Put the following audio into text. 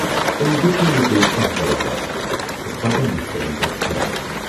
تٔمۍ دیُت نہٕ مے بییہِ کانہہ جواباہ تہٕ بڈٕ مُشکلن گوٚو کھڑا۔